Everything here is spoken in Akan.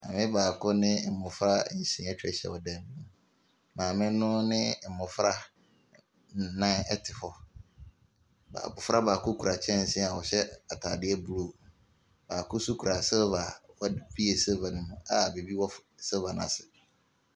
Maame baako ne mmɔfra nsia atwa ahyia wɔ dan mu. Maame no mmɔfra nnan te hɔ. Baa abɔfra baako kura kyɛnse a ɔhyɛ atade blue. Baako nso kura silver a wad bue silver no mu a biribi wɔ silver no ase.